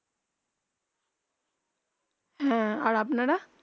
হেঁ আর আপনারা